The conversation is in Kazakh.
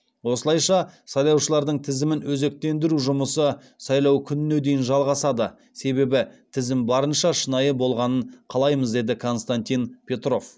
осылайша сайлаушылардың тізімін өзектендіру жұмысы сайлау күніне дейін жалғасады себебі тізім барынша шынайы болғанын қалаймыз деді константин петров